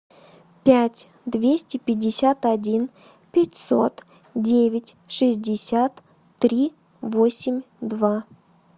пять двести пятьдесят один пятьсот девять шестьдесят три восемь два